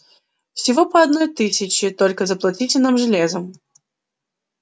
всего по одной тысяче только заплатите нам железом